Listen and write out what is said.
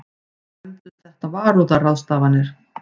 Nefndust þetta varúðarráðstafanir.